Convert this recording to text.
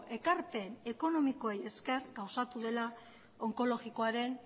ekarpen ekonomikoei esker gauzatu dela onkologikoaren